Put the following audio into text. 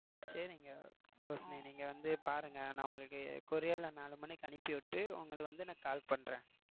சரிங்க ரோஷிணி நீங்க வந்து பாருங்க நான் உங்களுக்கு courier ல நாலு மணிக்கு அனுப்பிவிட்டு உங்களுக்கு வந்து நான் call பண்றேன்